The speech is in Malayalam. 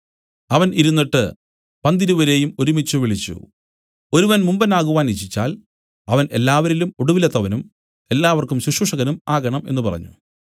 അവൻ ഇരുന്നിട്ട് പന്തിരുവരെയും ഒരുമിച്ചുവിളിച്ചു ഒരുവൻ മുമ്പൻ ആകുവാൻ ഇച്ഛിച്ചാൽ അവൻ എല്ലാവരിലും ഒടുവിലത്തവനും എല്ലാവർക്കും ശുശ്രൂഷകനും ആകണം എന്നു പറഞ്ഞു